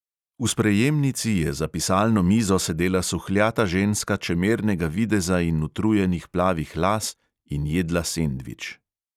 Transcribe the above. V sprejemnici je za pisalno mizo sedela suhljata ženska čemernega videza in utrujenih plavih las in jedla sendvič.